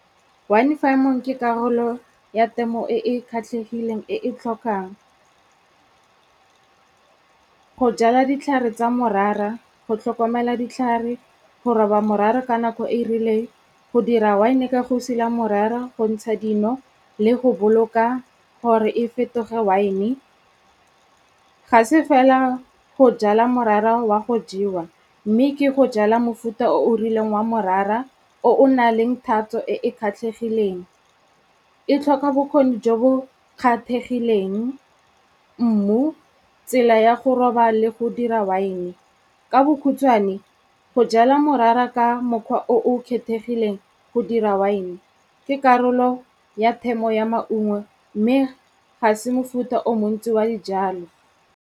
Wine farming ke karolo ya temo e e kgatlhegileng e e tlhokang go jala ditlhare tsa morara, go tlhokomela ditlhare, go roba morara ka nako e e rileng, go dira wine ka go sila morara, go ntsha dino le go boloka gore e fetoge wine. Ga se fela go jala morara wa go jewa mme ke go jala mofuta o o rileng wa morara o o na leng thatso e e kgatlegileng. E tlhoka bokgoni jo bo kgapegileng, mmu, tsela ya go roba le go dira wine. Ka bokhutswane, go jala morara ka mokgwa o o kgethegileng go dira wine, ke karolo ya temo ya maungo mme ga se mofuta o montsi wa dijalo.